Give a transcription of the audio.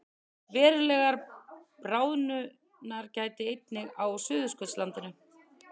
Verulegrar bráðnunar gætir einnig á Suðurskautslandinu